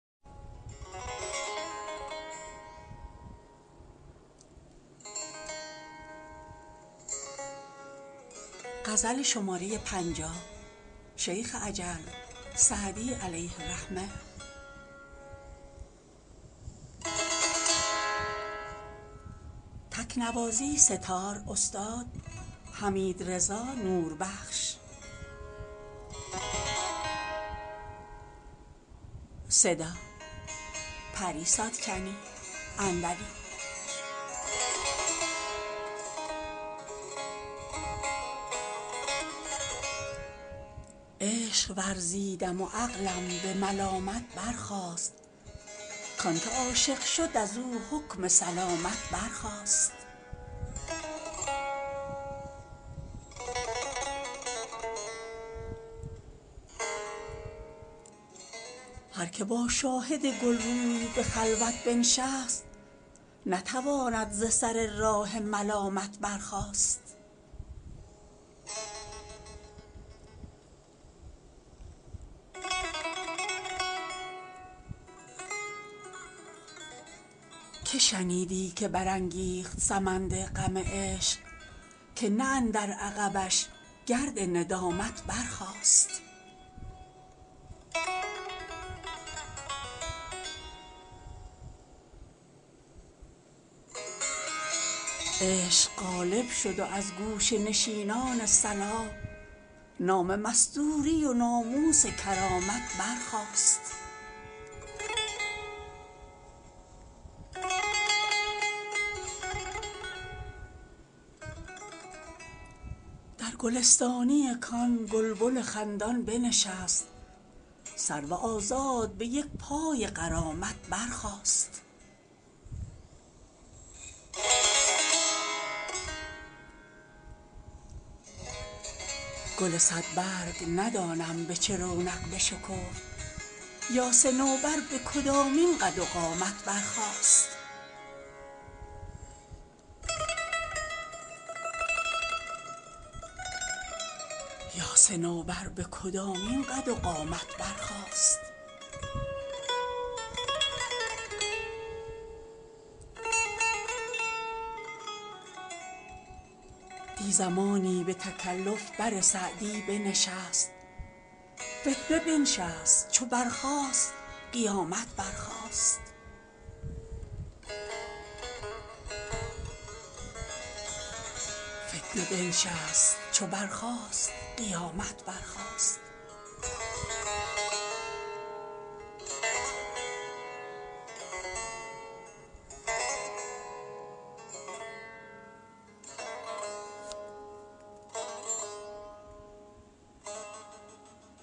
عشق ورزیدم و عقلم به ملامت برخاست کان که عاشق شد از او حکم سلامت برخاست هر که با شاهد گل روی به خلوت بنشست نتواند ز سر راه ملامت برخاست که شنیدی که برانگیخت سمند غم عشق که نه اندر عقبش گرد ندامت برخاست عشق غالب شد و از گوشه نشینان صلاح نام مستوری و ناموس کرامت برخاست در گلستانی کآن گلبن خندان بنشست سرو آزاد به یک پای غرامت برخاست گل صدبرگ ندانم به چه رونق بشکفت یا صنوبر به کدامین قد و قامت برخاست دی زمانی به تکلف بر سعدی بنشست فتنه بنشست چو برخاست قیامت برخاست